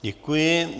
Děkuji.